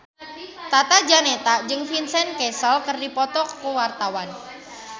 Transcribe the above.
Tata Janeta jeung Vincent Cassel keur dipoto ku wartawan